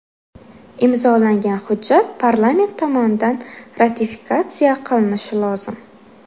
Imzolangan hujjat parlament tomonidan ratifikatsiya qilinishi lozim.